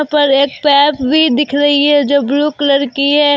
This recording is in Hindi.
पर एक पाइप भी दिख रही है जो ब्लू कलर की है।